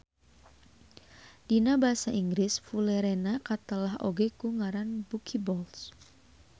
Dina basa Inggris Fulerena katelah oge ku ngaran buckyballs